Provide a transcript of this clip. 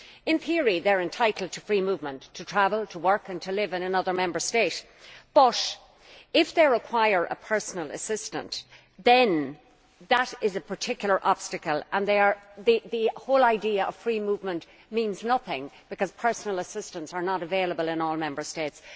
In theory they are entitled to free movement, to travel, to work and to live in another Member State but if they require a personal assistant then that is a particular obstacle and the whole idea of free movement means nothing because personal assistants are not available in all Member States.